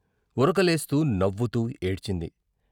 ఉరకలేస్తూ నవ్వుతూ ఏడ్చింది.